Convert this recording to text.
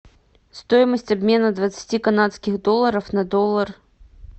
стоимость обмена двадцати канадских долларов на доллар